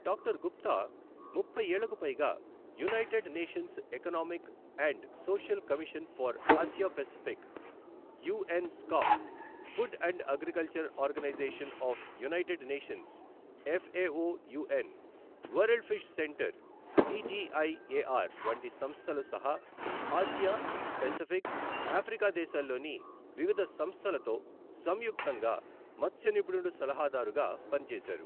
Doctor Gupta ముప్పై ఏళ్లకుపైగా United Nations Economic and Social Commission for Asia Pacific UN ESCAP, Food and Agriculture Organization of United Nations FAO UN, World Fish Center CGIAR వంటి సంస్థలుసహా Asia, Pacific, Africa దేశాల్లోని వివిధ సంస్థలతో సంయుక్తంగా మత్స్య నిపుణుడు సలహాదారుగా పనిచేశారు.